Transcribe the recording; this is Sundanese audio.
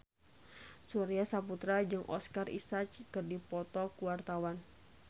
Surya Saputra jeung Oscar Isaac keur dipoto ku wartawan